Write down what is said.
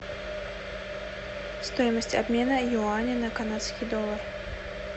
стоимость обмена юаня на канадский доллар